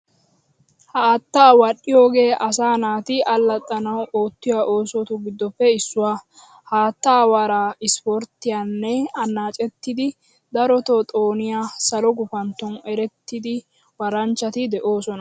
Haattaa wadhdhiyogee asaa naati allaxxanawu oottiyo oosotu giddoppe issuwaa. Haattaa waraa ispporttiyan annacettidi daroto xooniya salo gufantton erettida waranchchati de"oosona